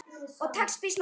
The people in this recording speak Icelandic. Og tekst býsna vel.